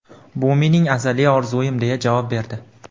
Bu mening azaliy orzuyim”, deya javob berdi.